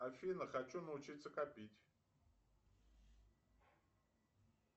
афина хочу научиться копить